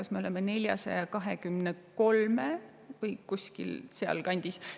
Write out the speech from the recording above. See on kas 423 juures või sealkandis.